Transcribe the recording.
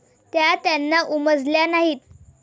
त्या त्यांना उमजल्या नाहीत.